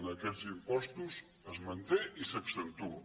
en aquests impostos es manté i s’accentua